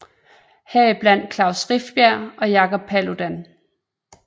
Her i blandt Klaus Rifbjerg og Jacob Paludan